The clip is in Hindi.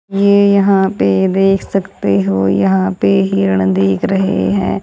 ये यहां पे देख सकते हो यहां पे हिरण दिख रहे हैं।